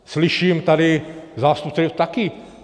Slyším tady zástupce taky.